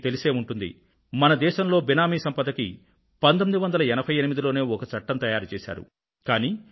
మీకు తెలిసే ఉంటుంది భారతదేశంలో బేనామీ ఆస్తిపై 1988లోనే ఒక చట్టాన్ని తయారు చేశారు